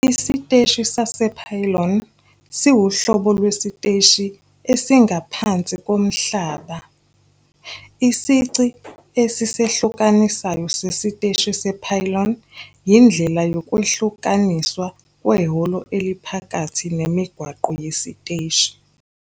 Isiteshi sase-pylon siwuhlobo lwesiteshi esingaphansi komhlaba esingaphansi komhlaba. Isici esisehlukanisayo sesiteshi se-pylon yindlela yokwehlukaniswa kwehholo eliphakathi nemigwaqo yesiteshi.